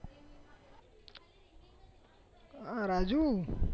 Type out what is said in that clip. Raju